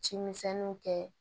Cimisɛnninw kɛ